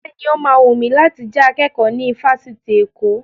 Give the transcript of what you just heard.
Bẹ́ẹ̀ni, ó ma wùn mi láti jẹ akẹ́kọ̀ọ́ ní ifásitì Èkó